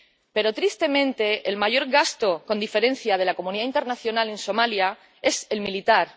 Pero, tristemente, el mayor gasto con diferencia de la comunidad internacional en Somalia es el militar.